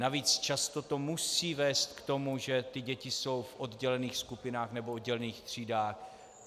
Navíc to často musí vést k tomu, že ty děti jsou v oddělených skupinách nebo oddělených třídách.